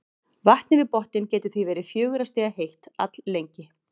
Vatnið við botninn getur því verið fjögurra stiga heitt alllengi.